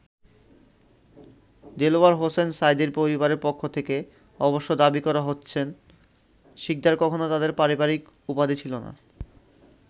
দেলাওয়ার হোসাইন সাঈদীর পরিবারের পক্ষ থেকে অবশ্য দাবি করা হচ্ছেন, শিকদার কখনো তাদের পারিবারিক উপাধি ছিল না।